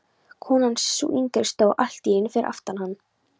Konan, sú yngri, stóð allt í einu fyrir aftan hann.